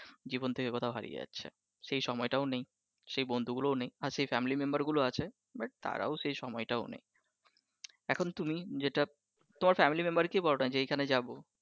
জীবন থেকে কোথায় হারিয়ে যাচ্ছে, সে সময়টাও নেই সেই বন্ধুগুলো ও নেই আছে যে family member গুলো আছে but তারাও সে সময়টা নেই এখন তুমি তোমার family member কে বলোনা যে এইখানে যাবো